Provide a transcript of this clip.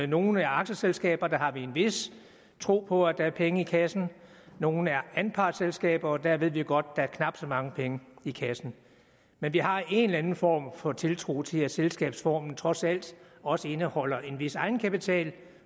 nogle aktieselskaber har vi en vis tro på at der er penge i kassen nogle er anpartsselskaber og der ved vi godt at der er knap så mange penge i kassen men vi har en eller anden form for tiltro til at selskabsformen trods alt også indeholder en vis egenkapital